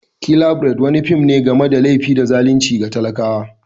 "Killer bride" wani fim ne game da laifi da zalunci ga talakawa.